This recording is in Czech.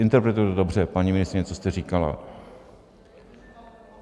Interpretuji to dobře, paní ministryně, co jste říkala?